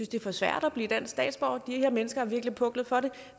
det er for svært at blive dansk statsborger de her mennesker har virkelig puklet for det